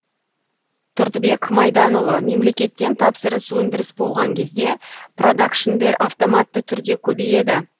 тұрдыбек майданұлы мемлекеттен тапсырыс өндіріс болған кезде продакшндер автоматты түрде көбейеді